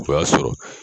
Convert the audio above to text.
O y'a sɔrɔ